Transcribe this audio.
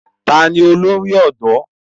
Ta ni olórí ọ̀dọ́?